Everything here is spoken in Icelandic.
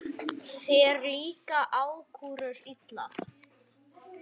Þér líka ákúrur illa.